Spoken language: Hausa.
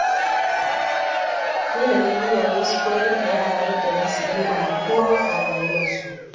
Dole ne iyaye su koyar da yara yadda za su girmama kowa a rayuwarsu..